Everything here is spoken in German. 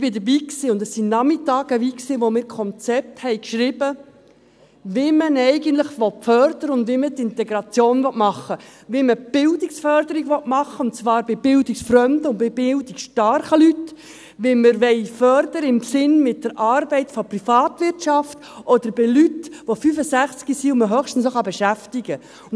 ich war dabei, und es war Nachmittage lang, an denen wir Konzepte schrieben, wie man eigentlich fördern will und wie man die Integration machen will, wie man die Bildungsförderung machen will, und zwar bei bildungsfremden und bei bildungsstarken Leuten, wie wir fördern wollen, im Sinne mit der Arbeit der Privatwirtschaft, oder bei Leuten, die 65 Jahre alt sind und die man höchstens noch fördern kann.